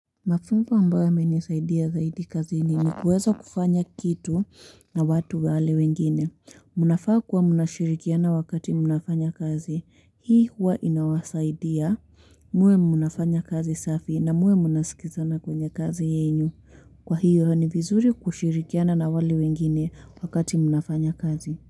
Mafunzo ambayo yamenisaidia zaidi kazini nikuweza kufanya kitu na watu wale wengine, mnafaa kuwa mnashirikiana wakati mnafanya kazi, hii huwa inawasaidia muwe mnafanya kazi safi na muwe mna sikizana kwenye kazi yenyu, kwa hiyo ni vizuri kushirikiana na wale wengine wakati mnafanya kazi.